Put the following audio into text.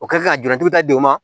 O kɛ ka jurutigi da di u ma